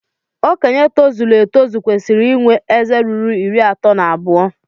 Okenye tozuru etozu kwesiri inwe ézé ruru iri ato na abuo